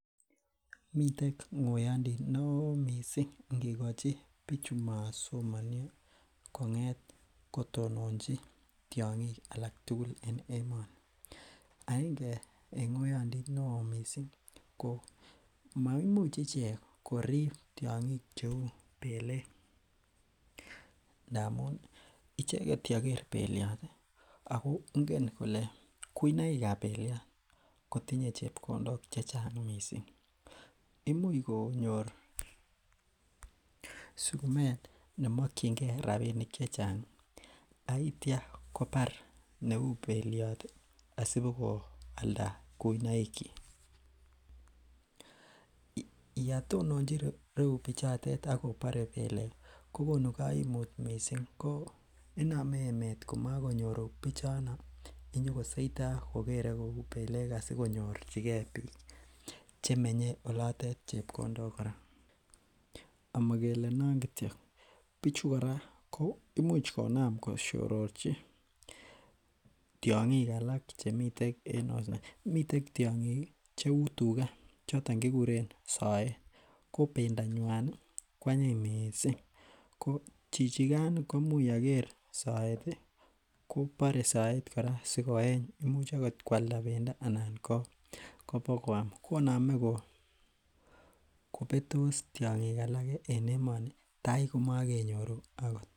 Miten ng'oiyondit neoo missing ngikochi bichu masomonio kong'et kotononji tiong'ik alak tugul en emoni aenge en ng'oiyondit neoo missing ko maimuch ichek korib tiong'ik cheu belek ndamun icheket yeker beliot ih ako ngen kole kuinoik ab beliot kotinye chepkondok chechang missing imuch konyor sukumet nemokyingee rapinik chechang ak itya kobar neu beliot asibokoalda kuinoik kyik. Yetononji ireu bichotet ak kobore belek ko konu koimut missing inome emet komokonyoru bichono nyokosoitoo nyokolere belek asikonyorchigee biik chemenye olotet chepkondok kora, amokele non kityok bichu kora ko imuch konam kosyororchi tiong'ik alak chemiten en osnet miten tiong'ik ih cheu tuga choton kekuren soet ko bendo nywan koanyiny missing ko chichikan ih ko imuch yeker soet ih kobore soet kora sikoeny imuch akot koalda bendo anan kobokoam konome kobetos tiong'ik alak en emoni tai komokenyoru akot